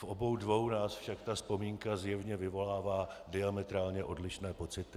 V obou dvou nás však ta vzpomínka zjevně vyvolává diametrálně odlišné pocity.